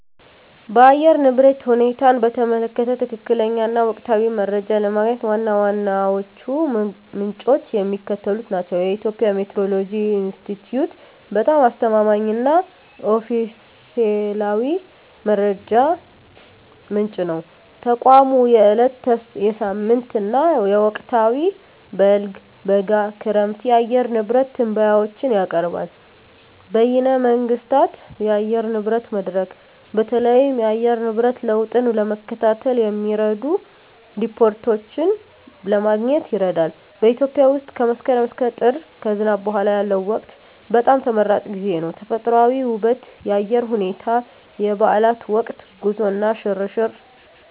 የአየር ንብረት ሁኔታን በተመለከተ ትክክለኛ እና ወቅታዊ መረጃ ለማግኘት ዋና ዋናዎቹ ምንጮች የሚከተሉት ናቸው -የኢትዮጵያ ሜትዎሮሎጂ ኢንስቲትዩት በጣም አስተማማኝ እና ኦፊሴላዊ መረጃ ምንጭ ነው። ተቋሙ የዕለት፣ የሳምንት እና የወቅታዊ (በልግ፣ በጋ፣ ክረምት) የአየር ንብረት ትንበያዎችን ያቀርባል። -በይነ መንግሥታት የአየር ንብረት መድረክ: በተለይም የአየር ንብረት ለውጥን ለመከታተል የሚረዱ ሪፖርቶችን ለማግኘት ይረዳል። -በኢትዮጵያ ውስጥ ከመስከረም እስከ ጥር (ከዝናብ በኋላ ያለው ወቅት) በጣም ተመራጭ ጊዜ ነው። -ተፈጥሮአዊ ውበት -የአየር ሁኔታ -የበዓላት ወቅት -ጉዞ እና ሽርሽር